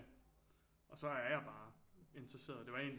Og så er jeg bare interesseret det var egentlig